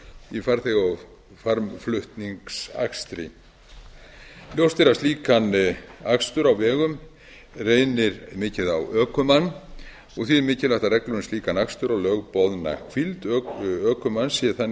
í farþega og farmflutningsakstri ljóst er að við slíkan akstur á vegum reynir mikið á ökumann og því mikilvægt að reglur um slíkan akstur og lögboðna hvíld ökumanns séu þannig